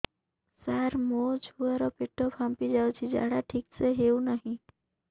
ସାର ମୋ ଛୁଆ ର ପେଟ ଫାମ୍ପି ଯାଉଛି ଝାଡା ଠିକ ସେ ହେଉନାହିଁ